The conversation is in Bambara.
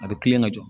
A bɛ kilen ka jɔ